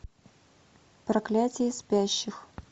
проклятие спящих